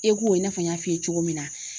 ECHO i n'a fɔ n y'a f'i ye cogo min na.